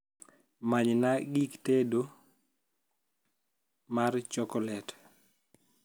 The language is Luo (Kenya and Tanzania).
manyna gik tedo kek mar chokolet